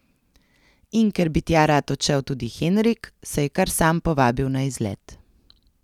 In ker bi tja rad odšel tudi Henrik, se je kar sam povabil na izlet.